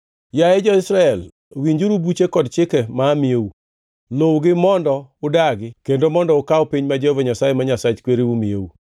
Yaye, jo-Israel, winjuru buche kod chike ma amiyou, luwgi mondo udagi kendo mondo ukaw piny ma Jehova Nyasaye, ma Nyasach kwereu miyou.